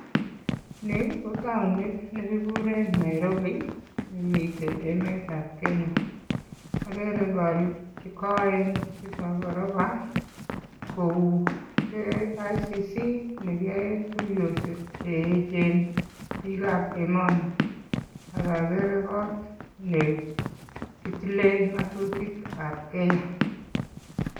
Ni kotounit nekikuren Nairobi nemiten emetab Kenya. Okere korik chekoen chebo koroba kou KICC nekiyoen tuiyosiek cheechen bikab emoni ak okere kot nekitilen ng'otutikab Kenya.